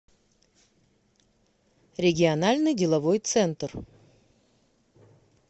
региональный деловой центр